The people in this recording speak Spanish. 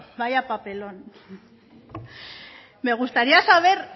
vaya papelón me gustaría saber